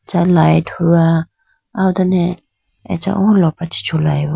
acha light huwa aye done acha o lopra chee chulayi bo.